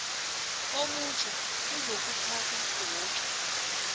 omutjha ozokuphatha woke